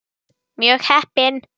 Mjög heppin.